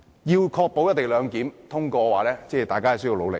要確保《條例草案》獲得通過的話，大家需要努力。